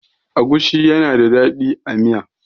agushi yana da dadi a Miya